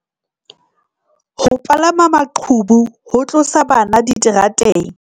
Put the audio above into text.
Ho palama maqhubu ho tlosa bana diterateng